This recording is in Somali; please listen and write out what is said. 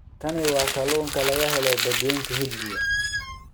Kani waa kalluunka laga helo Badweynta Hindiya